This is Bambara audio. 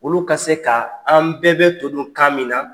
Olu ka se ka, an bɛɛ bɛ to dun kan min na.